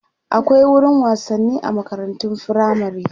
akwai wurin wasanni a makarantun firamare